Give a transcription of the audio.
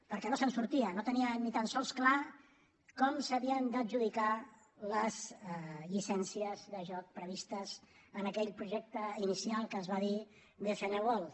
perquè no se’n sortia no tenia ni tan sols clar com s’havien d’adjudicar les llicències de joc previstes en aquell projecte inicial que es va dir bcn world